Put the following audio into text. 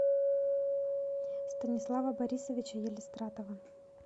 станислава борисовича елистратова